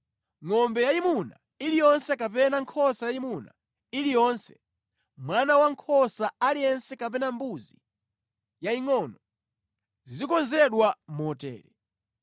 Ngʼombe yayimuna iliyonse kapena nkhosa yayimuna iliyonse, mwana wankhosa aliyense kapena mbuzi yayingʼono, zizikonzedwa motere.